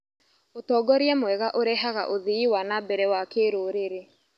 Ũtongoria mwega ũrehaga ũthii wa na mbere wa kĩrũrĩrĩ.